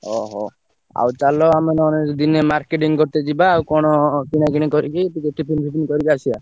ଓହୋ ଆଉ ଚାଲ ଆମେ ନହେନେ ଦିନେ marketing କରିତେ ଯିବା ଆଉ କଣ କିଣା କିଣି କରିକି ଟିକେ tiffin ଫିପିନ୍ କରିକି ଆସିଆ।